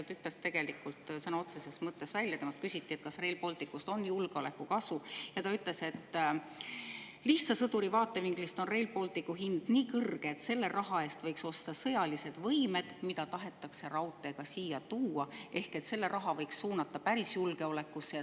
Ta ütles sõna otseses võttes välja, kui temalt küsiti, kas Rail Balticust on julgeolekukasu, et lihtsa sõduri vaatevinklist on Rail Balticu hind nii kõrge, et selle raha eest võiks osta sõjalisi võimeid, mida tahetakse raudteega siia tuua, ehk et selle raha võiks suunata päris julgeolekusse.